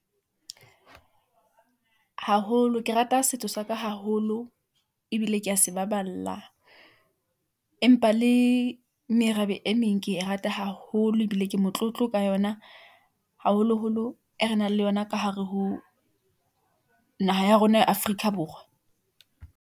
Haholo ke rata setso sa ka haholo ebile ke a se baballa, empa le merabe e meng. Ke e rata haholo ebile ke motlotlo ka yona haholoholo e re nang le yona ka hare ho naha ya rona ya Afrika- Borwa.